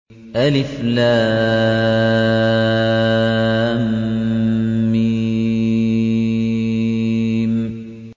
الم